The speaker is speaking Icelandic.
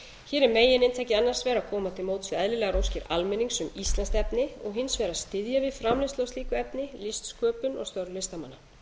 er megininntakið annars vegar að koma til móts við eðlilegar óskir almennings um íslenskt efni og hins vegar að styðja við framleiðslu á slíku efni listsköpun og störf listamanna